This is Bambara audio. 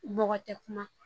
Bɔgɔ tɛ kuma